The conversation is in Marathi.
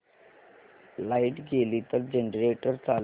लाइट गेली तर जनरेटर चालू कर